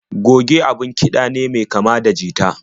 Goge abun kiɗa ne mai kama da jita.